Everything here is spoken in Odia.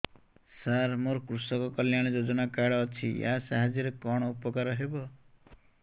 ସାର ମୋର କୃଷକ କଲ୍ୟାଣ ଯୋଜନା କାର୍ଡ ଅଛି ୟା ସାହାଯ୍ୟ ରେ କଣ ଉପକାର ହେବ